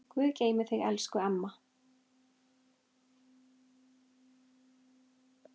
Guð geymi þig, elsku mamma.